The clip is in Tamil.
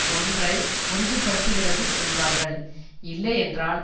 ஒன்றை உறுதி படுத்துகிறது என்பார்கள் இல்லை என்றால்